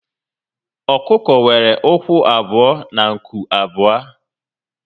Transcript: Ọkụkọ nwere ụkwụ abụọ na nku abụọ